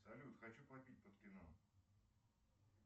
салют хочу попить под кино